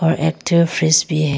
और active fridge भी है।